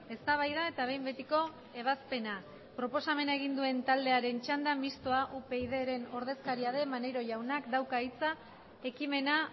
eztabaida eta behin betiko ebazpena proposamena egin duen taldearen txanda mistoa upydren ordezkaria den maneiro jaunak dauka hitza ekimena